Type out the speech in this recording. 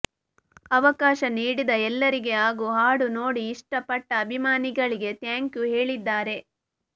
ಅವಕಾಶ ನೀಡಿದ ಎಲ್ಲರಿಗೆ ಹಾಗೂ ಹಾಡು ನೋಡಿ ಇಷ್ಟ ಪಟ್ಟ ಅಭಿಮಾನಿಗಳಿಗೆ ಥ್ಯಾಂಕ್ಯು ಹೇಳಿದ್ದಾರೆ